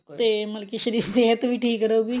ਤੇ ਮਤਲਬ ਕੀ ਸਿਹਤ ਵੀ ਠੀਕ ਰਹੂਗੀ